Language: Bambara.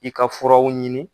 I ka furaw ɲini.